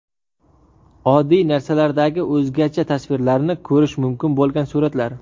Oddiy narsalardagi o‘zgacha tasvirlarni ko‘rish mumkin bo‘lgan suratlar .